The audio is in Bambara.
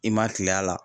I ma kila a la